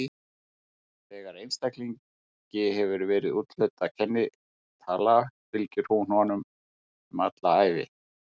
Þegar einstaklingi hefur verið úthlutuð kennitala fylgir hún honum um alla ævi.